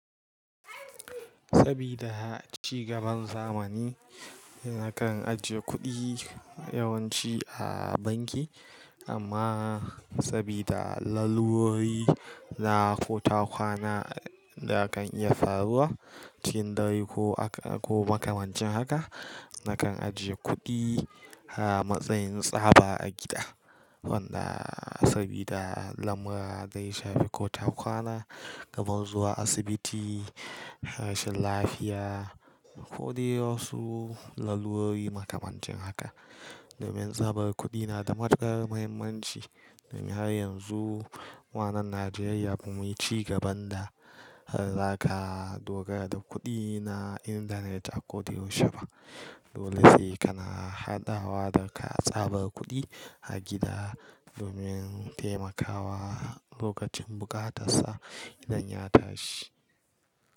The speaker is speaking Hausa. Sabida ci gaban zamani, nakan ajiye kuɗi yawanci a banki. Amma sabida lallurori na ko takwana da kan iya faruwa cikin dare ko, ko makamancin haka, nakan ajiye kuɗi a matsayin tsaba a gida. Wanda sabida lamura zai shafi ko takwana, kamar zuwa asibiti, rashin lafiya ko dai wasu lallurori makamancin haka. Domin tsabar kuɗi na da matukar muhimmanci. Domin har yanzu wannan Najeriya bamu yi cigaban da zaka dogara da kuɗi na intanet a ko da yaushe ba. Dole sai kana hadawa da ka tsabar kuɗi a gida domin taimakawa lokacin bukatarsa idan ya tashi.